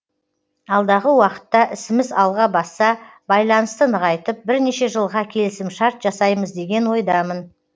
алдағы уақытта ісіміз алға басса байланысты нығайтып бірнеше жылға келісімшарт жасаймыз деген ойдамын